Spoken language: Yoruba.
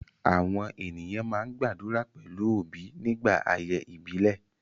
Àwọn ènìyàn máa ń gbàdúrà pẹ̀lú obi nígbà ayẹyẹ ìbílẹ̀